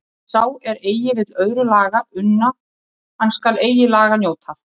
En sá er eigi vill öðrum laga unna, hann skal eigi laga njóta.